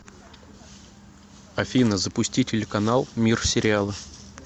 афина запусти телеканал мир сериала